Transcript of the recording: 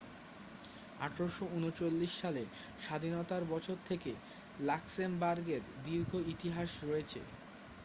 1839 সালে স্বাধীনতার বছর থেকে লাক্সেমবার্গের দীর্ঘ ইতিহাস রয়েছে